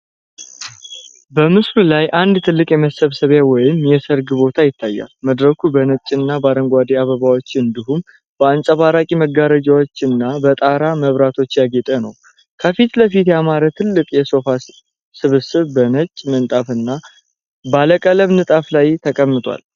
በምስሉ ላይ አንድ ትልቅ የመሰብሰቢያ ወይም የሠርግ ቦታ ይታያል። መድረኩ በነጭና በአረንጓዴ አበባዎች፣ እንዲሁም በአንጸባራቂ መጋረጃዎችና በጠራ መብራቶች ያጌጠ ነው። ከፊት ለፊት ያማረ ትልቅ የሶፋ ስብስብ በነጭ ምንጣፍና ባለቀለም ንጣፍ ላይ ተቀምጧል።